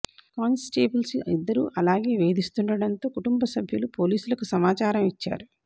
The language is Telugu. కానిస్టేబుల్స్ ఇద్దరు అలాగే వేధిస్తుండటంతో కుటుంబం సభ్యులు పోలీసులకు సమాచారం ఇచ్చారు